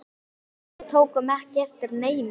En við tókum ekki eftir neinu.